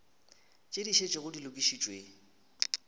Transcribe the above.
tše di šetšego di lokišitšwe